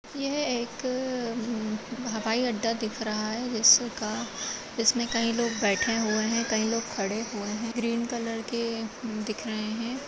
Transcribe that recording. यह एक अअउम हवाई अड्डा दिख रहा है जिसका जिसमें कई लोग बैठे हुए हैं कई लोग खड़े हुए हैं ग्रीन कलर के दिख रहे हैं ।